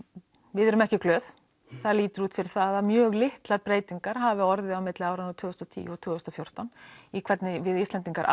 við erum ekki glöð það lítur út fyrir það að mjög litlar breytingar hafi orðið á milli áranna tvö þúsund og tíu til tvö þúsund og fjórtán í hvernig við Íslendingar